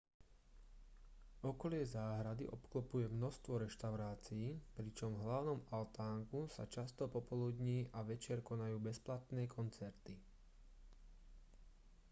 okolie záhrady obklopuje množstvo reštaurácií pričom v hlavnom altánku sa často popoludní a večer konajú bezplatné koncerty